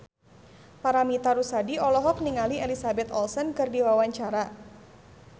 Paramitha Rusady olohok ningali Elizabeth Olsen keur diwawancara